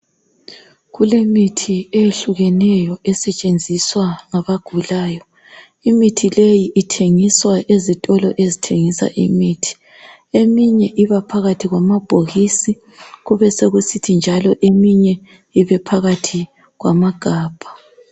Kulemithi eyehlukeneyo esetshenziswa ngabagulayo. Imithi leyi ithengiswa ezitolo ezithengisa imithi. Eminye iba phakathi kwamabhokisi kube sokusithi njalo eminye ibephakathi kwamagabha.